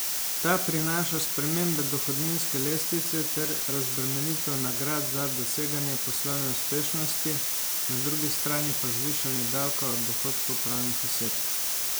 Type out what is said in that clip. Ta prinaša spremembe dohodninske lestvice ter razbremenitev nagrad za doseganje poslovne uspešnosti, na drugi strani pa zvišanje davka od dohodkov pravnih oseb.